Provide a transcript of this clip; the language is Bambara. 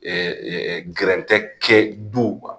gɛrɛ tɛ kɛ du